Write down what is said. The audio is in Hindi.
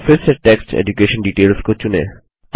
तो फिर से टेक्स्ट एड्यूकेशन DETAILSको चुनें